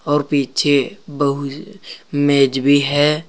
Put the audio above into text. और पीछे बहु मेज भी है।